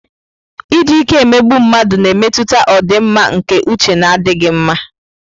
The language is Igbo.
Iji ike emegbu mmadụ na-emetụta ọdịmma nke uche na-adịghị mma.